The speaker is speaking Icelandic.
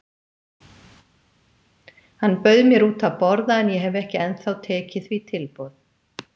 Hann bauð mér út að borða en ég hef ekki ennþá tekið því tilboð.